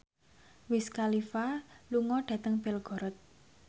Wiz Khalifa lunga dhateng Belgorod